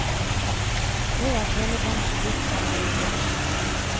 Nå er telebransjen blitt som bilbransjen.